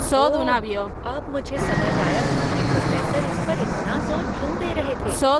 ओह, अब मुझे समझ आया कि प्रोफ़ेसर इस पर इतना ज़ोर क्यों दे रहे थे।